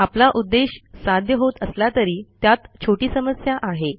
आपला उद्देश साध्य होत असला तरी त्यात छोटी समस्या आहे